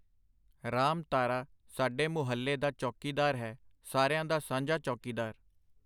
ਰਾਮ ਤਾਰਾ ਸਾਡੇ ਮੁਹੱਲੇ ਦਾ ਚੌਕੀਦਾਰ ਹੈ, ਸਾਰਿਆਂ ਦਾ ਸਾਂਝਾ ਚੌਕੀਦਾਰ.